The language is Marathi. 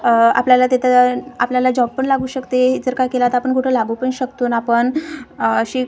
आह आपल्याला तिथं आपल्याला जॉब पण लागू शकते जर का केला तर आपण कुठे लागू पण शकतो ना आपण अ अशी--